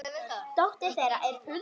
dóttir þeirra er Hulda Lind.